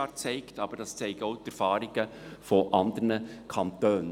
Das zeigen aber auch die Erfahrungen anderer Kantone.